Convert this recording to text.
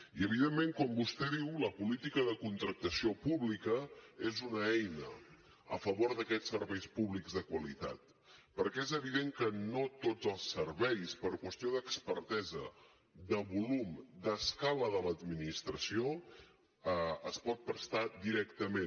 i evidentment com vostè diu la política de contractació pública és una eina a favor d’aquests serveis públics de qualitat perquè és evident que no tots els serveis per qüestió d’expertesa de volum d’escala de l’administració es poden prestar directament